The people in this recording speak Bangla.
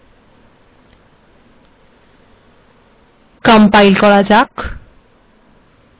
কম্পাইল্ করা যাক